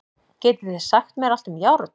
Getið þið sagt mér allt um járn?